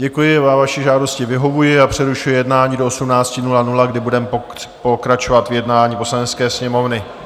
Děkuji, vaší žádosti vyhovuji a přerušuji jednání do 18.00, kdy budeme pokračovat v jednání Poslanecké sněmovny.